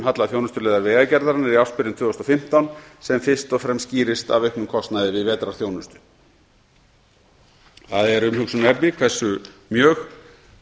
halla þjónustuliðar vegagerðarinnar í ársbyrjun tvö þúsund og fimmtán sem fyrst og fremst skýrist af auknum kostnaði við vetrarþjónustu það er umhugsunarefni hversu mjög